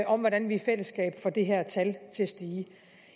om hvordan vi i fællesskab får det her tal til at stige